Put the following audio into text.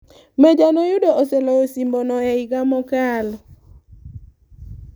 Meja noyudo oseloyo osimbono e higa mokalo.